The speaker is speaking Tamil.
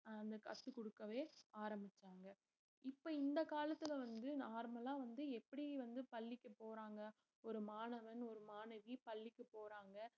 அஹ் கத்து கொடுக்கவே ஆரம்பிச்சாங்க இப்ப இந்த காலத்துல வந்து normal லா வந்து எப்படி வந்து பள்ளிக்கு போறாங்க ஒரு மாணவன் ஒரு மாணவி பள்ளிக்கு போறாங்க